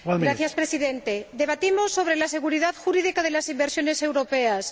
Señor Presidente, debatimos sobre la seguridad jurídica de las inversiones europeas.